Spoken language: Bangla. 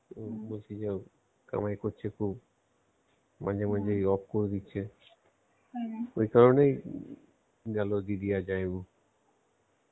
ও বলছিলো কামাই করছে খুব মাঝে মাঝেই off করে দিচ্ছে ওই কারণেই গেলো দিদি আর জামাইবাবু